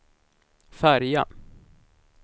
färja